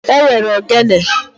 E nwere ogene